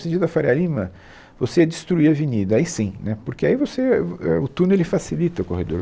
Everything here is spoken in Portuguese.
No sentido da Faria Lima, você ia destruir a avenida, aí sim, né porque aí você, é o é o túnel ele facilita o corredor.